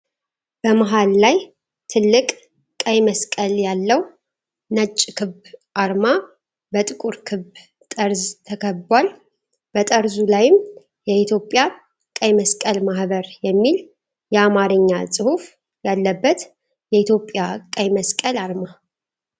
በመሃል ላይ ትልቅ ቀይ መስቀል ያለው ነጭ ክብ አርማ፣ በጥቁር ክብ ጠርዝ ተከብቧል፣ በጠርዙ ላይም “የኢትዮጵያ ቀይ መስቀል ማህበር” የሚል የአማርኛ ጽሑፍ ያለበት የኢትዮጵያ ቀይ መስቀል አርማ።